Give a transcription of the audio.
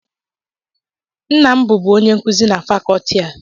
Nna m bụbu onye nkuzi na Fakọọti a